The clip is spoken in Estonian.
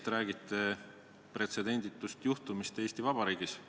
Te räägite pretsedenditust juhtumist Eesti Vabariigis.